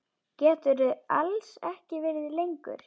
Geturðu alls ekki verið lengur?